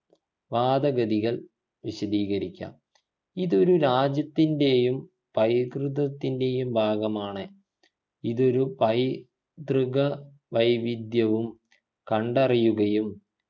വാദഗതികൾ വിശദീകരിക്കാം. ഇതൊരു രാജ്യത്തിൻ്റെയും പൈതൃകത്തിൻ്റെയും ഭാഗമാണ് ഇതൊരു പൈ തൃക വൈവിധ്യവും കണ്ടറിയുകയും